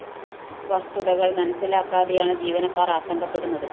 വസ്തുതകള്‍ മനസിലാക്കാതെയാണ് ജീവനക്കാര്‍ ആശങ്കപ്പെടുന്നത്